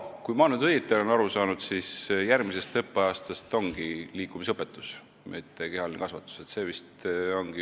Kui ma nüüd õigesti aru olen saanud, siis järgmisest õppeaastast meil ongi liikumisõpetus, mitte kehaline kasvatus.